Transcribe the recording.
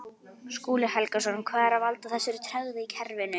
Skúli Helgason: Hvað er að valda þessari tregðu í kerfinu?